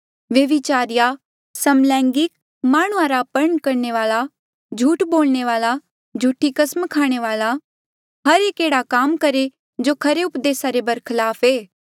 व्यभिचारीया समलैंगिक माह्णुंआं रा अपहरण करणे वाले झूठ बोलणे वाले झूठी कसम खाणे वाले हर एक एह्ड़ा काम करहे जो खरे उपदेसा रे बरखलाफ ऐे